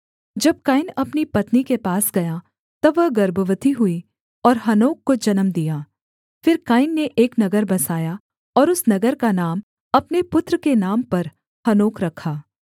जब कैन अपनी पत्नी के पास गया तब वह गर्भवती हुई और हनोक को जन्म दिया फिर कैन ने एक नगर बसाया और उस नगर का नाम अपने पुत्र के नाम पर हनोक रखा